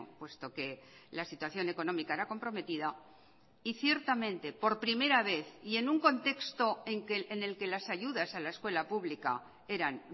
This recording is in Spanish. puesto que la situación económica era comprometida y ciertamente por primera vez y en un contexto en el que las ayudas a la escuela pública eran